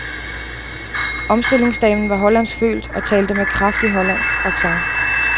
Omstillingsdamen var hollandsk født og talte med kraftig hollandsk accent.